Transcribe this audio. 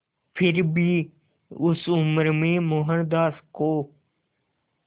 फिर भी उस उम्र में मोहनदास को